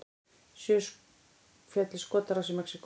Sjö féllu í skotárás í Mexíkó